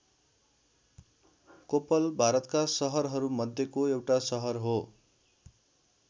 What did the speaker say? कोप्पल भारतका सहरहरू मध्येको एउटा सहर हो।